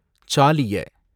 ச்சாலிய